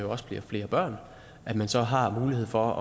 også bliver flere børn og at man så har mulighed for